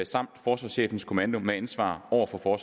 samt forsvarschefens kommando med ansvar over for